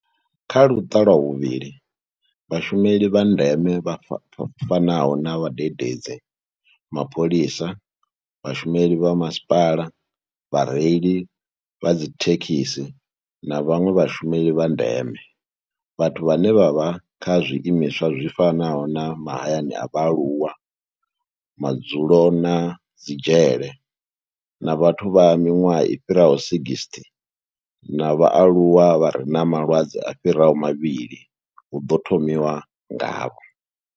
Kha luṱa lwa vhuvhili, vhashumeli vha ndeme vha fanaho na vhadededzi, mapholisa, vhashumeli vha masipala, vhareili vha dzithekhisi na vhanwe vhashumeli vha ndeme, vhathu vhane vha vha kha zwiimiswa zwi fanaho na mahayani a vhaaluwa, madzulo na dzi dzhele na vhathu vha miṅwaha i fhiraho 60 na vhaaluwa vha re na malwadze a fhiraho mavhili hu ḓo thomiwa ngavho.